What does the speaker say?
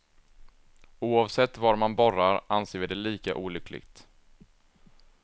Oavsett var man borrar anser vi det lika olyckligt.